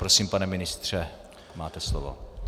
Prosím, pane ministře, máte slovo.